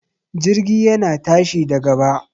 Jirgi yana tashi da gaba